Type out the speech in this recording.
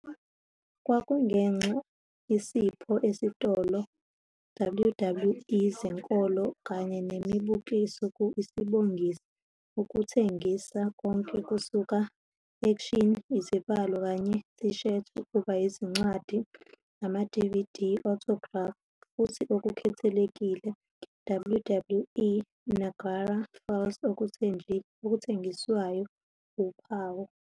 kwakungenxa isipho esitolo WWE zenkolo kanye nemibukiso ku isibonisi, ukuthengisa konke kusuka action izibalo kanye t-shirts ukuba izincwadi, ama-DVD, Autographs futhi okukhethekile WWE Niagara Falls okuthengiswayo uphawu.